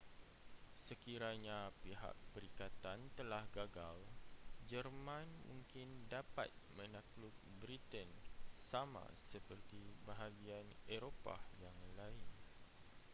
sekiranya pihak perikatan telah gagal jerman mungkin dapat menakluk britain sama seperti bahagian eropah yang lain